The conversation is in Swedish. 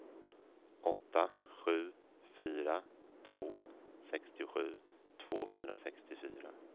åtta sju fyra två sextiosju tvåhundrasextiofyra